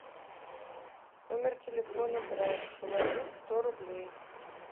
номер телефона брат положить сто рублей